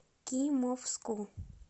кимовску